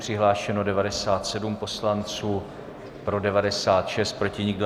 Přihlášeno 97 poslanců, pro 96, proti nikdo.